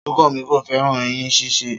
Sunkanmi ko fẹràn ẹyin ṣíṣe.